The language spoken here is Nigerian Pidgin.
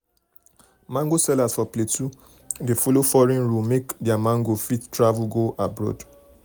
mango sellers for plateau dey follow foreign rule make their mango um fit um fit travel go abroad. um